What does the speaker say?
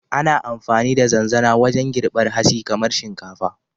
Ana amfani da zanzana wajen girbar hatsi kamar shinkafa.